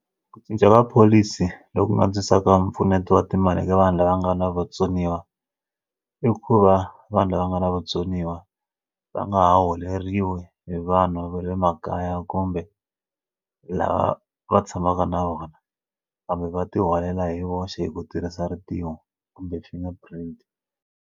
Ku cinca ka pholisi loku nga antswisaka mpfuneto wa timali ka vanhu lava nga na vatsoniwa i ku va vanhu lava nga na vutsoniwa va nga holeriwi hi vanhu va le makaya kumbe lava va tshamaka na vona kambe va ti holela hi voxe hi ku tirhisa rintiwo kumbe xi nga private.